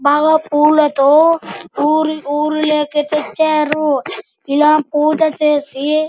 బాగా పూలలతో ఊరు లోకి తీచారుఎలా పూజ చేసి--